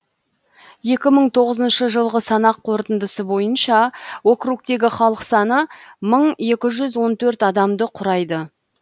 екі мың тоғызыншы жылғы санақ қорытындысы бойынша округтегі халық саны мың екі жүз он төрт адамды құрады